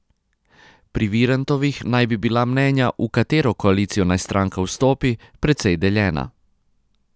Pri Virantovih naj bi bila mnenja, v katero koalicijo naj stranka vstopi, precej deljena.